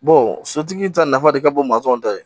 sotigi ta nafa de ka bon masɔnw ta ye